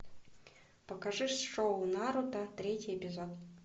покажи шоу наруто третий эпизод